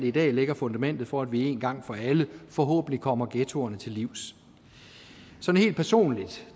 i dag lægger fundamentet for at vi en gang for alle forhåbentlig kommer ghettoerne til livs sådan helt personligt